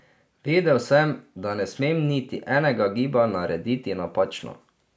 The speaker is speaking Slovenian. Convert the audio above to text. Vedel sem, da ne smem niti enega giba narediti napačno.